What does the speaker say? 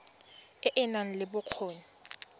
e e nang le bokgoni